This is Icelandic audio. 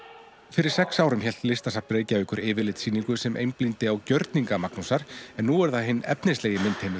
fyrir sex árum hélt Listasafn Reykjavíkur yfirlitssýningu sem einblíndi á gjörninga Magnúsar en nú er það hinn efnislegi